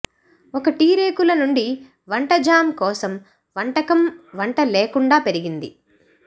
ఒక టీ రేకుల నుండి వంట జామ్ కోసం వంటకం వంట లేకుండా పెరిగింది